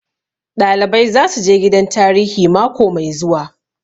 Ɗalibai zasu je gidan tarihi mako mai zuwa